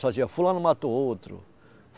Só dizia, fulano matou outro.